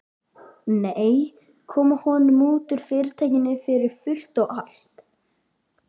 Nei, koma honum út úr Fyrirtækinu fyrir fullt og allt.